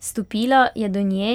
Stopila je do nje